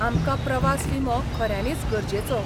आमकां प्रवास विमो खऱ्यानीच गरजेचो?